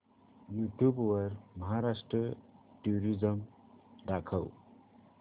YouTube वर Maharashtra tourism दाखव